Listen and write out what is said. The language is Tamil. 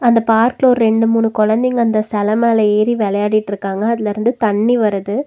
அந்த பார்க்ல ஒரு ரெண்டு மூணு கொழந்தைங்க அந்த செல மேல ஏறி விளையாடிட்ருக்காங்க அதுலருந்து தண்ணி வருது.